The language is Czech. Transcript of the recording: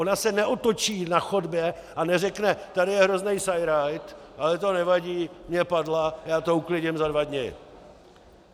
Ona se neotočí na chodbě a neřekne: tady je hrozný sajrajt, ale to nevadí, je padla, já to uklidím za dva dny.